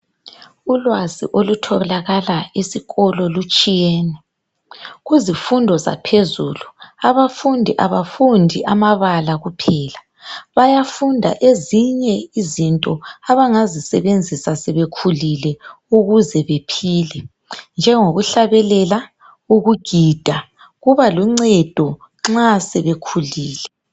Ulwazi okutholakala esikolo lutshiyene kuzifundo zaphezulu abafundi abafundi amabala kuphela bayafunda ezinye izinto abangazisebenzisa sebekhulile ukuze bephile njengokuhlabelela ukugida kubaluncedo nxa sebekhulile.